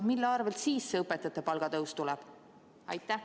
Mille arvelt siis see õpetajate palgatõus tuleb?